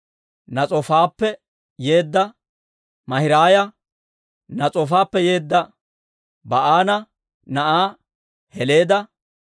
Nas'oofappe yeedda Maahiraaya, Nas'oofappe yeedda Ba'aana na'aa Heleeda,